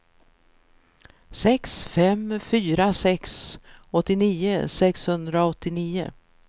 sex fem fyra sex åttionio sexhundraåttionio